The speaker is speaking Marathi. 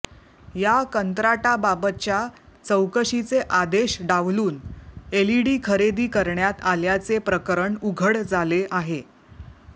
या कंत्राटाबाबतच्या चौकशीचे आदेश डावलून एलईडी खरेदी करण्यात आल्याचे प्रकरण उघड झाले आहे